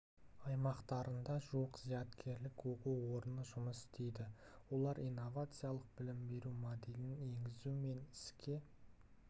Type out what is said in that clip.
аймақтарында жуық зияткерлік оқу орны жұмыс істейді олар инновациялық білім беру моделін енгізу мен іске